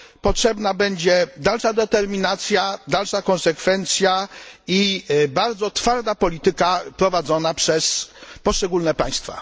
Potrzebna będzie dalsza determinacja, dalsza konsekwencja i bardzo twarda polityka prowadzona przez poszczególne państwa.